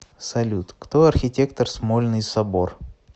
салют кто архитектор смольный собор